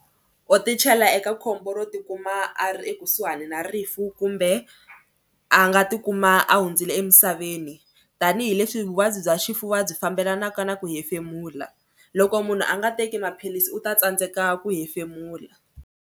U tichela eka khombo ro tikuma a ri ekusuhani na rifu kumbe a nga tikuma a hundzile emisaveni tanihileswi vuvabyi bya xifuva byi fambelanaka na ku hefemula. Loko munhu a nga teki maphilisi u ta tsandzeka ku hefemula.